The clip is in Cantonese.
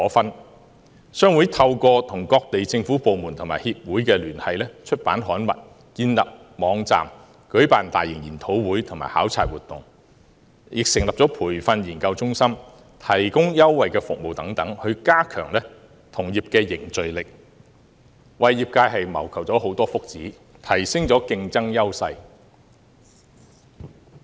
印刷業商會透過與各地政府部門及協會的聯繫、出版刊物、建立網站、舉辦大型研討會及考察活動、成立培訓研究中心、提供優惠服務等，加強同業凝聚力，為業界謀求福祉，提升競爭優勢。